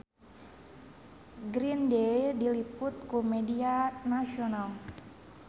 Green Day diliput ku media nasional